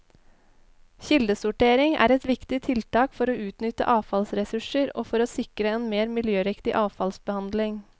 Kildesortering er et viktig tiltak for å utnytte avfallsressurser og for å sikre en mer miljøriktig avfallsbehandling.